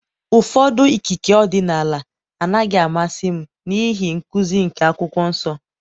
ụfọdụ ikike ọdịnala anaghị amasị m n'ihi nkuzi nke Akwụkwọ Nsọ.